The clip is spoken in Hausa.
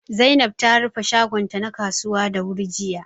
Zainab ta rufe shagon ta na kasuwa da wuri jiya